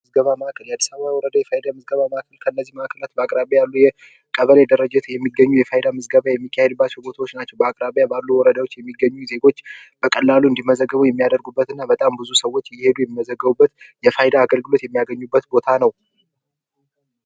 ምዝገባ ማዕከል አዲስ አበባ ወርዳ የፋይዳ ምዝገባ ማዕከል ከእነዚህ ማዕከላት በአቅራቢያው ቀበሌ ደረጃ የሚገኙ የፋይዳ ገበያ የሚካሄድባቸው ቦታዎች ናቸው። በአቅራቢያ ባሉ ወረዳዎች የሚገኙ ዜጎች በቀላሉ እንዲመዘገቡ የሚያደርጉበት እና በጣም ብዙ ሰዎች እየሄዱ የሚመዘገቡበት የፋይዳ አገልግሎት የሚያገኙበት ቦታ ነው።